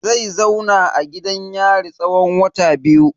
Zai zauna a gidan yari tsawon wata biyu.